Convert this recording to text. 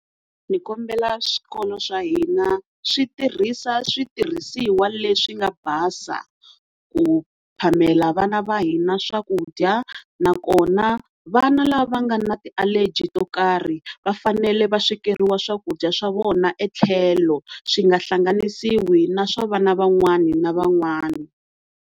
Ni kombela swikolo swa hina switirhisa switirhisiwa leswi nga basa ku phamela vana va hina swakudya nakona vana lava nga na ti-allergy to karhi va fanele va swekeriwa swakudya swa vona etlhelo swi nga hlanganisiwi na swa vana van'wana na van'wana.